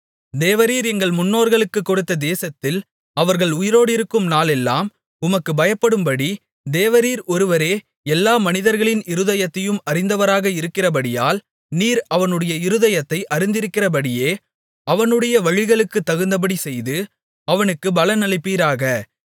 தேவரீர் எங்கள் முன்னோர்களுக்குக் கொடுத்த தேசத்தில் அவர்கள் உயிரோடிருக்கும் நாளெல்லாம் உமக்குப் பயப்படும்படி தேவரீர் ஒருவரே எல்லா மனிதர்களின் இருதயத்தையும் அறிந்தவராக இருக்கிறபடியால் நீர் அவனவனுடைய இருதயத்தை அறிந்திருக்கிறபடியே அவனவனுடைய வழிகளுக்குத் தகுந்தபடி செய்து அவனவனுக்குப் பலன் அளிப்பீராக